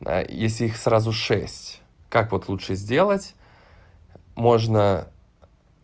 если их сразу шесть как вот лучше сделать можно